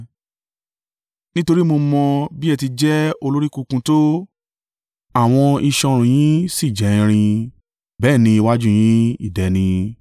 Nítorí mo mọ bí ẹ ti jẹ́ olórí kunkun tó; àwọn iṣan ọrùn yín sì jẹ́ irin; bẹ́ẹ̀ ni iwájú yín idẹ ni.